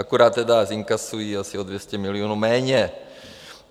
Akorát tedy zinkasují asi o 200 milionů méně.